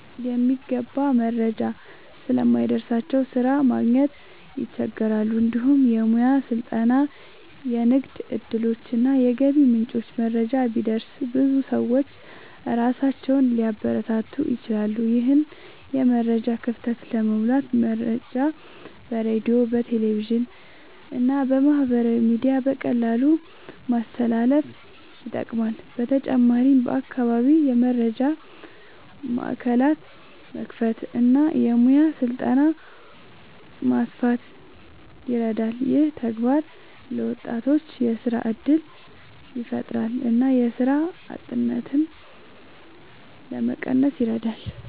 የሚገባ መረጃ ስለማይደርስላቸው ስራ ማግኘት ይቸገራሉ። እንዲሁም የሙያ ስልጠና፣ የንግድ እድሎች እና የገቢ ምንጮች መረጃ ቢደርስ ብዙ ሰዎች ራሳቸውን ሊያበረታቱ ይችላሉ። ይህን የመረጃ ክፍተት ለመሙላት መረጃ በሬዲዮ፣ በቴሌቪዥን እና በማህበራዊ ሚዲያ በቀላሉ ማስተላለፍ ይጠቅማል። በተጨማሪም በአካባቢ የመረጃ ማዕከላት መክፈት እና የሙያ ስልጠና ማስፋት ይረዳል። ይህ ተግባር ለወጣቶች የስራ እድል ያፈጥራል እና የስራ አጥነትን ለመቀነስ ይረዳል።